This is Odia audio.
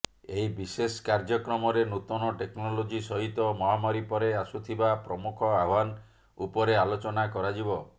ଏହି ବିଶେଷ କାର୍ଯ୍ୟକ୍ରମରେ ନୂତନ ଟେକ୍ନୋଲୋଜି ସହିତ ମହାମାରୀ ପରେ ଆସୁଥିବା ପ୍ରମୁଖ ଆହ୍ବାନ ଉପରେ ଆଲୋଚନା କରାଯିବ